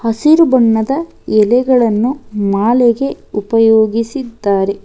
ಹಸಿರು ಬಣ್ಣದ ಎಲೆಗಳನ್ನು ಮಾಲೆಗೆ ಉಪಯೋಗಿಸಿದ್ದಾರೆ.